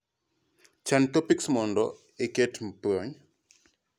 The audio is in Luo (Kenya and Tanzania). chan topics mondo iketie puonj